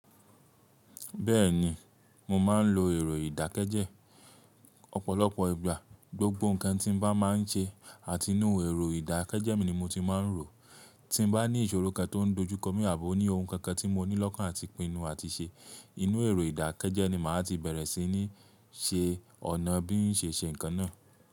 Bẹ́ẹ̀ni, mo máa ń lo èrò ìdákẹ́jẹ Ọ̀pọ̀lọpọ̀ ìgbà, gbogbo nǹkan tí n bá máa ń ṣe àti inú èrò ìdákẹ́jẹ mi ni mo ti máa ń rò. Tí n bá ní ìṣòro kan tó ń dojú kọ mí àbi ó ní ohun kankan tí mo nílọ́kàn áti pinnu àti ṣe, inú èrò ìdákẹ́jẹ ni màá ti bẹ̀rẹ̀ sí ní ṣe ọ̀nà bí ń ṣe ṣe nǹkan náà.